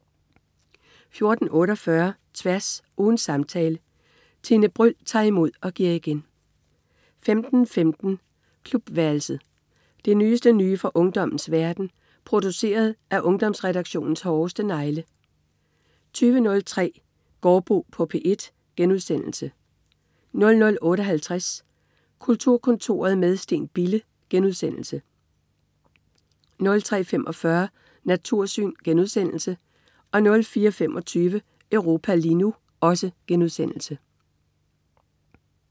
14.48 Tværs. Ugens samtale. Tine Bryld tager imod og giver igen 15.15 Klubværelset. Det nyeste nye fra ungdommens verden, produceret af Ungdomsredaktionens hårdeste negle 20.03 Gaardbo på P1* 00.58 Kulturkontoret med Steen Bille* 03.45 Natursyn* 04.25 Europa lige nu*